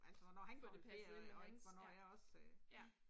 Får passet ind i hans, ja, ja